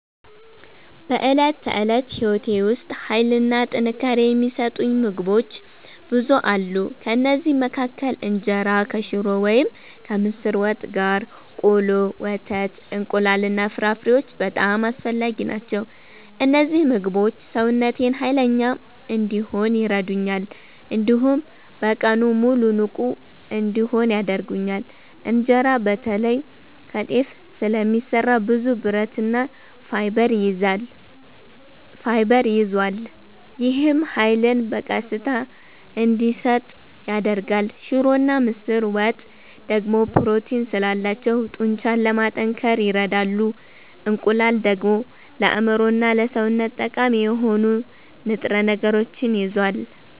በዕለት ተዕለት ሕይወቴ ውስጥ ኃይልና ጥንካሬ የሚሰጡኝ ምግቦች ብዙ አሉ። ከእነዚህ መካከል እንጀራ ከሽሮ ወይም ከምስር ወጥ ጋር፣ ቆሎ፣ ወተት፣ እንቁላል እና ፍራፍሬዎች በጣም አስፈላጊ ናቸው። እነዚህ ምግቦች ሰውነቴን ኃይለኛ እንዲሆን ይረዱኛል፣ እንዲሁም በቀኑ ሙሉ ንቁ እንድሆን ያደርጉኛል። እንጀራ በተለይ ከጤፍ ስለሚሰራ ብዙ ብረትና ፋይበር ይዟል። ይህም ኃይልን በቀስታ እንዲሰጥ ያደርጋል። ሽሮና ምስር ወጥ ደግሞ ፕሮቲን ስላላቸው ጡንቻን ለማጠናከር ይረዳሉ። እንቁላል ደግሞ ለአእምሮና ለሰውነት ጠቃሚ የሆኑ ንጥረ ነገሮችን ይዟል።